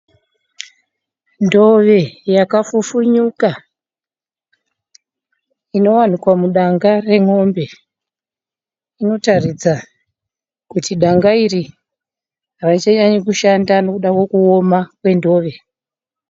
Ndove yakafufunyuka ,inowanikwa mudanga remombe. Inotaridza kuda danga iri harichanyanyi kushanda nekuda kwekuoma kwendove.